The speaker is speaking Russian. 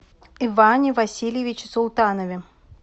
иване васильевиче султанове